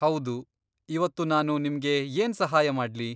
ಹೌದು, ಇವತ್ತು ನಾನು ನಿಮ್ಗೆ ಏನ್ ಸಹಾಯ ಮಾಡ್ಲಿ?